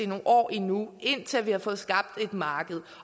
nogle år endnu indtil vi havde fået skabt et marked